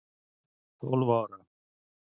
Tólf ára